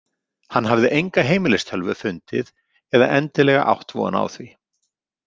Hann hafði enga heimilistölvu fundið eða endilega átt von á því.